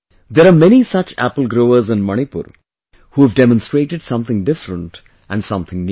There are many such apple growers in Manipur who have demonstrated something different and something new